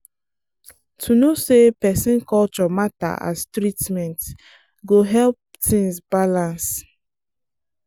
to know say person culture matter as treatment go help things balance.